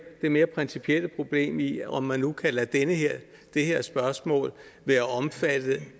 mere principielle problem i om man nu kan lade det her spørgsmål være omfattet